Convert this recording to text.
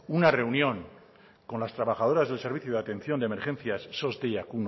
una reunión con las trabajadoras del servicio de atención de emergencia sos deiakminus